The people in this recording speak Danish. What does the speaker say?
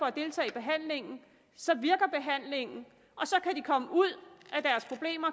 at deltage i behandlingen så virker behandlingen og så kan de komme ud